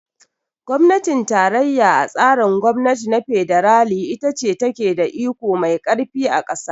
Gwamnatin tarayya a tsarin gwamnati na fedarali ita ce ta ke da iko mai karfi a kasa.